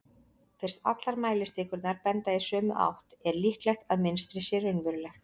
fyrst allar mælistikurnar benda í sömu átt er líklegt að mynstrið sé raunverulegt